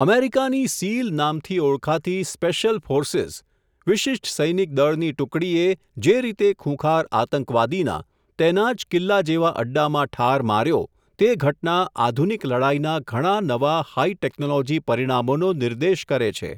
અમેરિકાની સીલ નામથી ઓળખાતી 'સ્પેશ્યલ ફોર્સીઝ', વિશિષ્ટ સૈનિક દળ ની ટુકડીએ જે રીતે ખૂંખાર આતંકવાદીના, તેના જ કિલ્લા જેવા અડ્ડામાં ઠાર માર્યો, તે ઘટના આધુનિક લડાઇના ઘણા નવા હાઈ ટેકનોલોજી પરિણામોનો નિર્દેશ કરે છે.